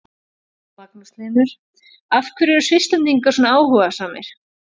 Magnús Hlynur: Af hverju eru Svisslendingar svona áhugasamir?